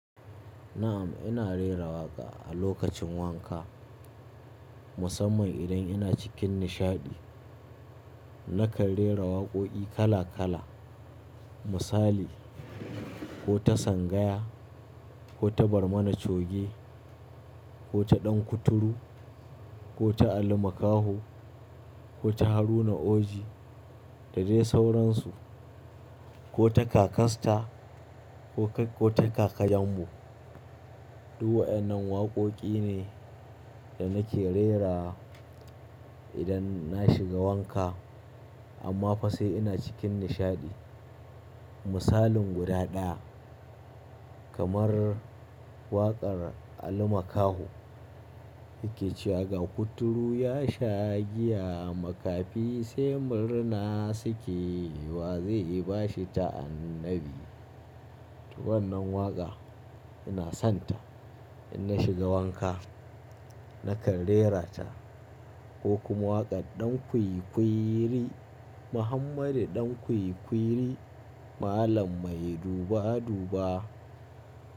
Na'am, ina rera waƙa a lokacin wanka musamman idan ina cikin nishaɗi. Nakan rera waƙoƙi kala kala misali; ko ta Sangaya, ko ta Barmana Choge, ko ta Dan Kuturu, ko ta Ali Mkaho, ko ta Haruna Oji da dai sauransu, ko ta Kaka Star ko ta kaka yambu. Duk wayannan waƙoƙi ne da nake rera idan na shiga wanka amma fa sai ina cikin nishaɗi. Misalin guda ɗaya kamar waƙar Ali Makaho yake cewa “ga kuturu ya sha giya, makafi sai murna suke, wa zai ba shi ta'annabi”. To wannan waƙa ina sonta idan na shiga wanka nakan rerata ko kuma waƙar Dan Kwikwiri “Muhammadu ɗan kwikwiri malam mai duba duba”.